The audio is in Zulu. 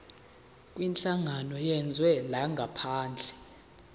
kwinhlangano yezwe langaphandle